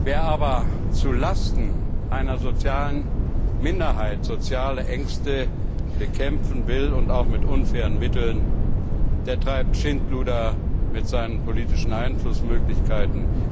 Wer aber zulasten einer sozialen Minderheit soziale Ängste bekämpfen will, und das mit unfairen Mitteln, der treibt Schindluder mit seinen politischen Einflussmöglichkeiten.